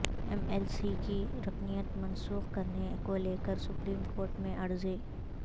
M L C کی رکنیت منسوخ کرنے کو لے کر سپریم کورٹ میں عرضی